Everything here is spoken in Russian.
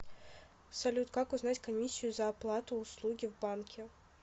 салют как узнать комиссию за оплату услуги в банке